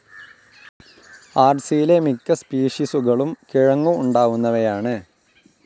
ആർസിയിലെ മിക്ക സ്പീഷിസുകളും കിഴങ്ങു ഉണ്ടാവുന്നവയാണ്.